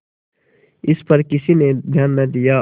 इस पर किसी ने ध्यान न दिया